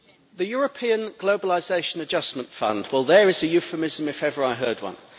The European Globalisation Adjustment Fund well, there is a euphemism if ever I heard one.